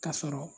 Ka sɔrɔ